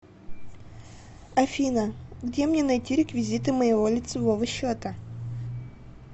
афина где мне найти реквизиты моего лицевого счета